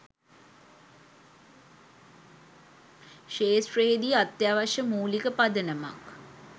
ක්‍ෂේත්‍රයේදී අත්‍යවශ්‍ය මූලික පදනමක්